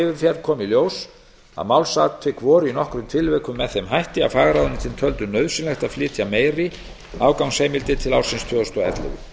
yfirferð kom í ljós að málsatvik voru í nokkrum tilvikum með þeim hætti að fagráðuneytin töldu nauðsynlegt að flytja meiri afgangsheimildir til ársins tvö þúsund og ellefu